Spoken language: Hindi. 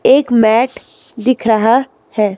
एक मैट दिख रहा है.